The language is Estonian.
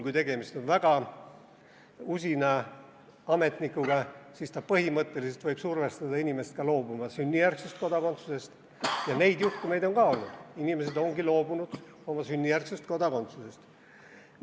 Kui tegemist on väga usina ametnikuga, siis ta põhimõtteliselt võib survestada inimest sünnijärgsest kodakondsusest loobuma ja neid juhtumeid on ka olnud, inimesed ongi loobunud oma sünnijärgsest kodakondsusest.